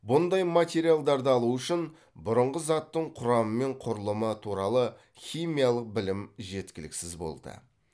бұндай материалдарды алу үшін бұрынғы заттың құрамы мен құрылымы туралы химиялық білім жеткіліксіз болды